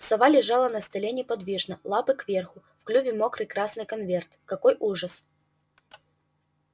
сова лежала на столе неподвижно лапы кверху в клюве мокрый красный конверт какой ужас